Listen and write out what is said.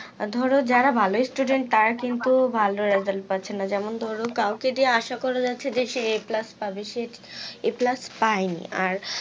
ধরো যারা ভালো student তারা কিন্তু ভালো result পাচ্ছে না যেমন ধরো কাওকে দিয়ে আসা করা যাচ্ছে যে সে a plus পাবে সে a plus পাইনি আর